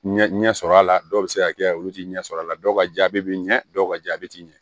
Ɲɛ ɲɛ sɔrɔ a la dɔw be se ka kɛ olu ti ɲɛ sɔrɔ a la dɔw ka jaabi bi ɲɛ dɔw ka jaabi ti ɲɛ